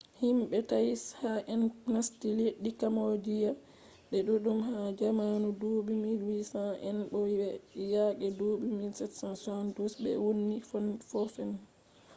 himɓe tais en nasti leddi kambodiya de ɗuɗɗum ha zamanu duuɓi 1800 en bo be yake duuɓi 1772 de ɓe wonni fonfen